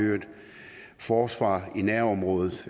forsvar i nærområdet